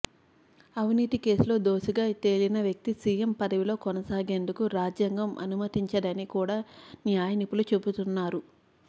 అవినీతి కేసులో దోషిగా తేలిన వ్యక్తి సీఎం పదవిలో కొనసాగేందుకు రాజ్యాంగం అనుమతించదని కూడా న్యాయ నిపుణులు చెబుతున్నారు